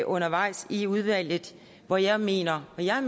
undervejs i udvalget hvor jeg mener og jeg